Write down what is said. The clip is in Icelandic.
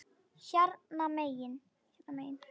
Hérna megin.